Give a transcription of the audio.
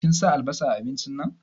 Kin sa albasa a abincin nan?